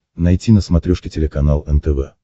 найти на смотрешке телеканал нтв